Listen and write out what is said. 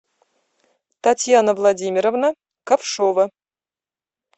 татьяна владимировна ковшова